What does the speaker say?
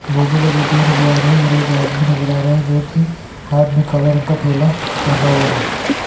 भोपू बजाते हुए नजर आ रहे है और एक आदमी नजर आ रहा है जो की हाथ में काला रंग का ठेला टांगा हुआ है।